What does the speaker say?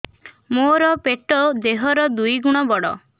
ମୋର ପେଟ ଦେହ ର ଦୁଇ ଗୁଣ ବଡ